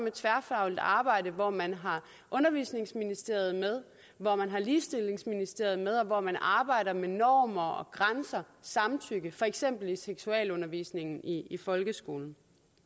et tværfagligt arbejde hvor man har undervisningsministeriet med hvor man har ligestillingsministeriet med og hvor man arbejder med normer grænser samtykke for eksempel i seksualundervisningen i i folkeskolen